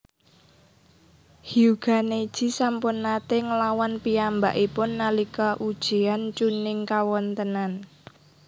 Hyuuga Neji sampun naté nglawan piyambakipun nalika ujian Chunnin kawontênan